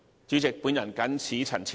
主席，本人謹此陳辭。